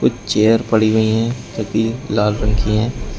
Chair पड़ी हुई है तकिए लाल रंग की है।